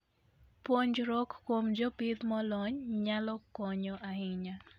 Puonjruok kuom jopith molony nyalo konyo ahinya.